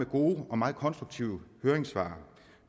gode og meget konstruktive høringssvar